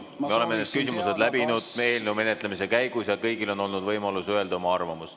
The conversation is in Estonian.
Me oleme need küsimused läbinud eelnõu menetlemise käigus ja kõigil on olnud võimalus öelda oma arvamus.